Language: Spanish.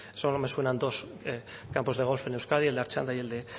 solo me suenan dos campos de golf en euskadi el de artxanda y el de